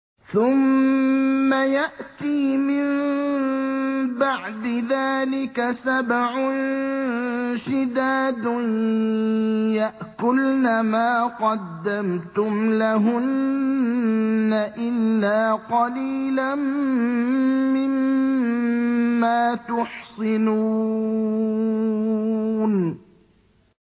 ثُمَّ يَأْتِي مِن بَعْدِ ذَٰلِكَ سَبْعٌ شِدَادٌ يَأْكُلْنَ مَا قَدَّمْتُمْ لَهُنَّ إِلَّا قَلِيلًا مِّمَّا تُحْصِنُونَ